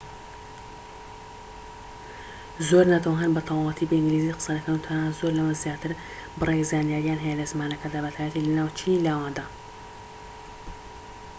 زۆر نەتەوە هەن بە تەواوەتی بە ئینگلیزی قسە دەکەن و تەنانەت زۆر لەمە زیاتر بڕێک زانیارییان هەیە لە زمانەکەدا بە تایبەتی لە ناو چینی لاواندا